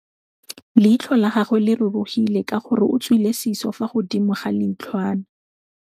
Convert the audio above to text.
Leitlhô la gagwe le rurugile ka gore o tswile sisô fa godimo ga leitlhwana.